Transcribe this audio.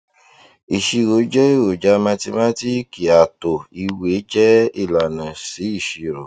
ìṣirò jẹ eroja mathimátíìkì àtò ìwé jẹ ilànà sí ìṣirò